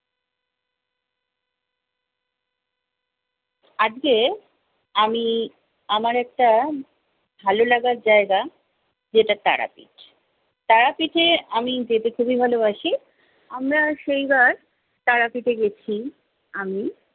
আজকে আমি আমার একটা ভালো লাগার জায়গা যেটা তারাপীঠ। তারাপীঠে আমি যেতে খুবই ভালোবাসি। আমরা সেইবার তারাপীঠে গেছি। আমি